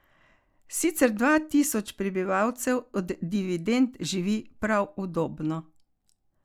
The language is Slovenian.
Sicer dva tisoč prebivalcev od dividend živi prav udobno.